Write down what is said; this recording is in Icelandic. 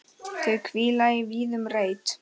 Þau hvíla í vígðum reit.